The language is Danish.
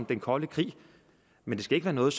den kolde krig men det skal ikke være noget